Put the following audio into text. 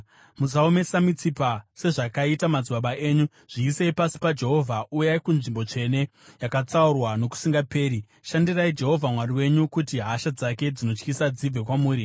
Musaomesa mitsipa sezvakaita madzibaba enyu. Zviisei pasi paJehovha. Uyai kunzvimbo tsvene yaakatsaura nokusingaperi. Shandirai Jehovha Mwari wenyu, kuti hasha dzake dzinotyisa dzibve kwamuri.